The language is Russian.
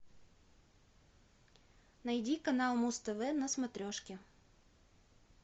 найди канал муз тв на смотрешке